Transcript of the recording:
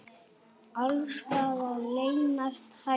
Alls staðar leynast hættur.